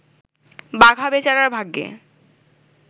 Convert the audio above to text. বাঘা বেচারার ভাগ্যে